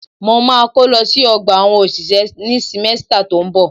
Mo ma kó lọ sí ọgbà àwọn òṣìṣẹ́ ní símẹ́stà tó ń bọ̀.